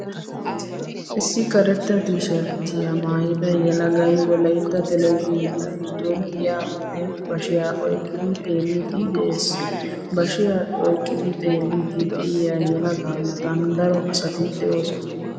Issi karetta tiisharttiyaa maayida yelagay Wolaytta televizhiiniyaa giddon giyaappe bashiyaa oyqqidi xeelliiddi de"ees. Bashiyaa oyqqidi xeelliiddi de'iyaa yelagaa matan daro asati de"oosona .